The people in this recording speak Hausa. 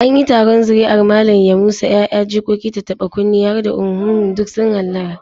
An yi taron zuri'ar Malam Yamusa, 'ya'ya, jikoki, tattaɓa-kunne har da uhumhum duk sun hallara.